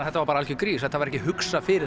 þetta var algjör grís þetta var ekki hugsað fyrir